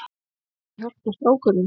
Hafa þau hjálpað strákunum?